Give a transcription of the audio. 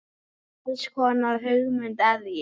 Hvers konar hugmynd er ég?